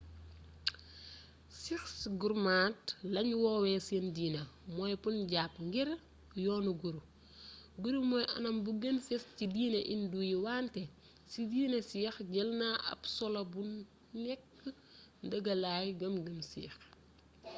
sikhs gurmat lañy woowee seen diine mooy punjabi ngir yoonu guru guru mooy anam bu gën fés ci diine indo yi wante ci diine sikh jël na ab solo bu nekk ndëgëlay gëm gëm sikh